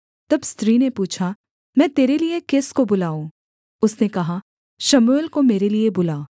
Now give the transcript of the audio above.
तब स्त्री ने पूछा मैं तेरे लिये किसको बुलाऊँ उसने कहा शमूएल को मेरे लिये बुला